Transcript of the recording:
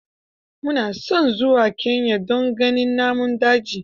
Mu na son zuwa Kenya don ganin namun daji.